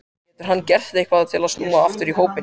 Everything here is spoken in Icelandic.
Getur hann gert eitthvað til að snúa aftur í hópinn?